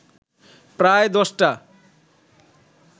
প্রায় দশটা